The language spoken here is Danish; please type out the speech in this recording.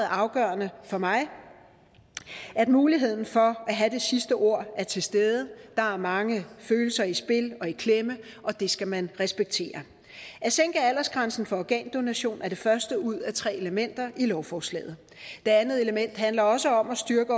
afgørende for mig at muligheden for at have det sidste ord er til stede der er mange følelser i spil og i klemme og det skal man respektere at sænke aldersgrænsen for organdonation er det første ud af tre elementer i lovforslaget det andet element handler også om at styrke